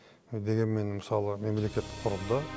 дегенмен мысалы мемлекет құрылды